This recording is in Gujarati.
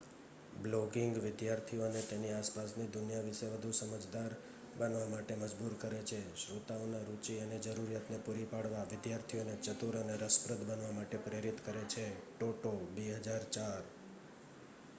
"બ્લોગિંગ "વિદ્યાર્થીઓને તેની આસપાસની દુનિયા વિશે વધુ સમજદાર બનવા માટે મજબૂર કરે છે"". શ્રોતાઓના રુચિ અને જરૂરિયાત ને પુરી પાડવા વિદ્યાર્થીઓને ચતુર અને રસપ્રદ બનવા માટે પ્રેરિત કરે છે ટોટો 2004.